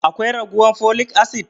Akwai raguwan folic acid?